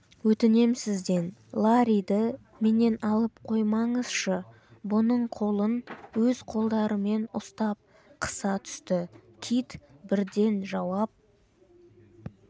өтінем сізден ларриді менен алып қоймаңызшы бұның қолын өз қолдарымен ұстап қыса түсті кит бірден жауап